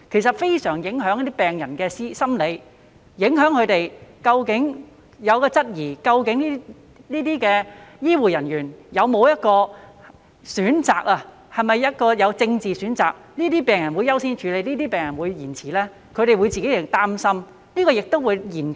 此舉非常影響病人的心理狀況，令他們質疑究竟這些醫護人員會否因為政治立場而作出選擇，因而優先處理某些病人，延遲處理某些病人呢？